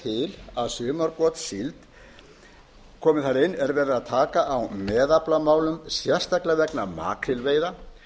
til að sumargotssíld komi þar inn er verið að taka á meðaflamálum sérstaklega vegna makrílveiða